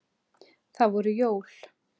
Það voru jól.